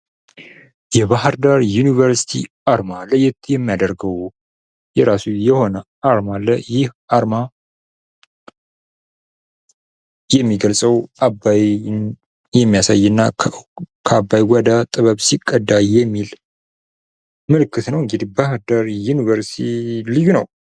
የባህርዳር ዩኒቨርሲቲ አርማ ለየት የሚያደርገው የራሱ የሆነ አርማ አለ ። ይህ አርማ የሚገልፀው አባይን የሚያሳይ እና ከአባይ ወደ ጥበብ ሲቀዳ የሚል ምልክት ነው እንግዲህ ባህርዳር ዩኒቨርሲቲ ልዩ ነው ።